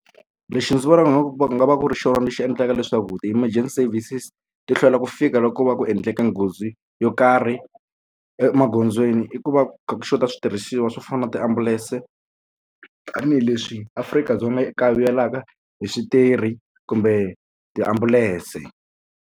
Lexi ndzi vonaka leswaku va nga va ku ri xona lexi endlaka leswaku ti-emergency services ti hlwela ku fika loko va ku endleke nghozi yo karhi emagondzweni i ku va ku kha ku xota switirhisiwa swo fana na tiambulense tanihileswi Afrika-Dzonga i ku kayivelaka hi switirhi kumbe tiambulense.